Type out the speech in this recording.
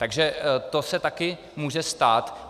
Takže to se taky může stát.